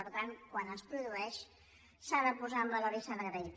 per tant quan es produeix s’ha de posar en valor i s’ha d’agrair